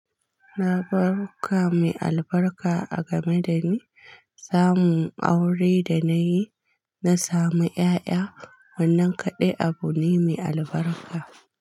Labaruka mai albarka a game da ni, samun aure da nayi na samu ƴaƴa wannan kaɗai abu ne mai albarka.